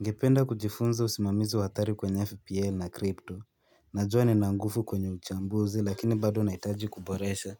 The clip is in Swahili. Ningependa kujifunza usimamizi wa athari kwenye FPL na krypto Najua nina nguvu kwenye uchambuzi lakini bado nahitaji kuboresha